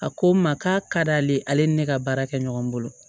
A ko n ma k'a ka d'ale ye ale ni ne ka baara kɛ ɲɔgɔn bolo